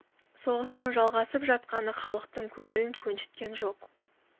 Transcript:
соғыстың жалғасып жатқаны халықтың көңілін көншіткен жоқ